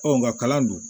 Ɔ nga kalan don